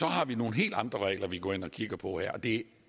har vi nogle helt andre regler vi går ind og kigger på og det